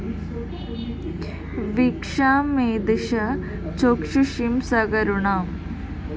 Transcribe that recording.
വീക്ഷാം മെയ്‌ ദിശ ചാക്ഷുഷീം സകരുണാം